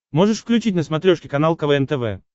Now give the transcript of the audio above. можешь включить на смотрешке канал квн тв